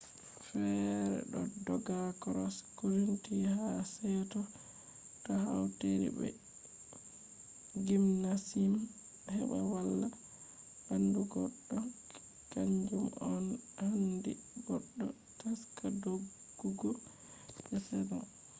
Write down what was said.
fere ɗo dogga cross country ha se’to to hautiri be gymnasium heɓa valla ɓandu goɗɗo kan ju on no handi goɗɗo taska doggugo je season